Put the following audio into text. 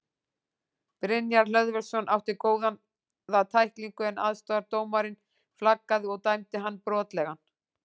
Brynjar Hlöðversson átti góða tæklingu en aðstoðardómarinn flaggaði og dæmdi hann brotlegan.